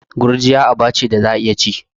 Gurjiya aba ce da za'a iya ci.